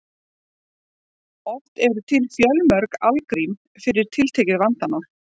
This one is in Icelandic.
Oft eru til fjölmörg algrím fyrir tiltekið vandamál.